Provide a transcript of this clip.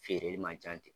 Feereli man ca ten